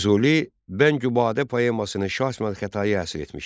Füzuli Bəngübadə poemasını Şah İsmayıl Xətaiyə həsr etmişdi.